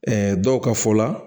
dɔw ka fɔ la